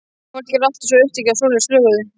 Fólk er alltaf svo upptekið af svoleiðis löguðu.